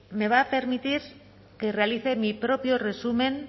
me va a permitir que realicé mi propio resumen